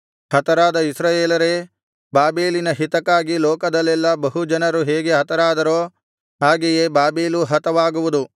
ಹತರಾದ ಇಸ್ರಾಯೇಲರೇ ಬಾಬೆಲಿನ ಹಿತಕ್ಕಾಗಿ ಲೋಕದಲ್ಲೆಲ್ಲಾ ಬಹು ಜನರು ಹೇಗೆ ಹತರಾದರೋ ಹಾಗೆಯೇ ಬಾಬೆಲೂ ಹತವಾಗುವುದು